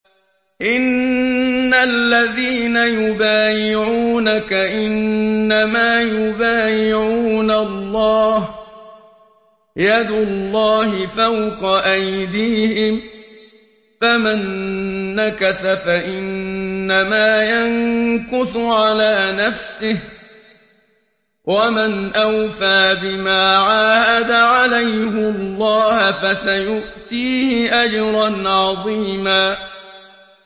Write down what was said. إِنَّ الَّذِينَ يُبَايِعُونَكَ إِنَّمَا يُبَايِعُونَ اللَّهَ يَدُ اللَّهِ فَوْقَ أَيْدِيهِمْ ۚ فَمَن نَّكَثَ فَإِنَّمَا يَنكُثُ عَلَىٰ نَفْسِهِ ۖ وَمَنْ أَوْفَىٰ بِمَا عَاهَدَ عَلَيْهُ اللَّهَ فَسَيُؤْتِيهِ أَجْرًا عَظِيمًا